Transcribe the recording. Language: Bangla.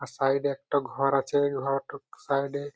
আর সাইড -এ একটা ঘর আছে ঘ-টক সাইড -এ--